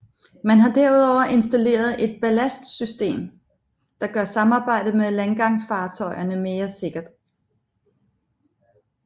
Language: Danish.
Man har derudover installeret et ballastsystem der gør samarbejdet med landgangsfartøjerne mere sikkert